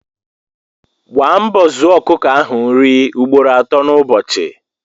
Gba mbọ zụoọ ọkụkọ ahụ nri ugboro ato n' ụbọchị